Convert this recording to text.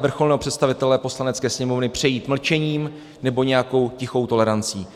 vrcholného představitele Poslanecké sněmovny přejít mlčením nebo nějakou tichou tolerancí.